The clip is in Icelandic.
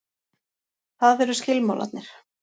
Það eru skilmálarnir.